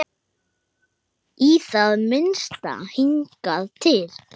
Í það minnsta hingað til.